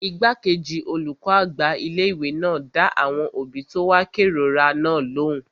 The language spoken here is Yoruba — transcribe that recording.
Igbákejì olùkọ́ àgbà ilé-ìwé náà dá àwọn òbí tó wá kérora náà lóhùn